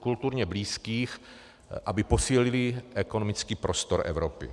kulturně blízkých, aby posílili ekonomický prostor Evropy.